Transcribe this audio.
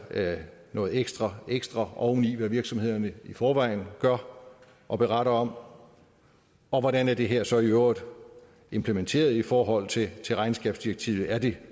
noget ekstra ekstra oveni hvad virksomhederne i forvejen gør og beretter om og hvordan er det her så i øvrigt implementeret i forhold til til regnskabsdirektivet er det